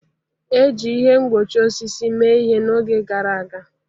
E ji ihe mgbochi osisi mee ihe n'oge gara aga.